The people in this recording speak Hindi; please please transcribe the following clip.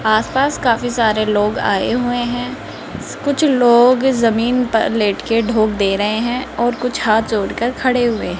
आसपास काफी सारे लोग आए हुए हैं कुछ लोग जमीन पर लेट के ढोक दे रहे हैं और कुछ हाथ जोड़कर खड़े हुए --